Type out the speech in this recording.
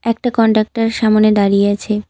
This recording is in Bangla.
একটা কন্টাকটার সামোনে দাঁড়িয়ে আছে।